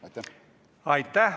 Aitäh!